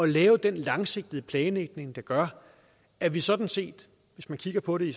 lave den langsigtede planlægning der gør at vi sådan set hvis man kigger på det